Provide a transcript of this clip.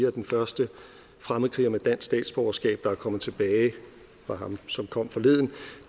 at den første fremmedkriger med dansk statsborgerskab der er kommet tilbage var ham som kom forleden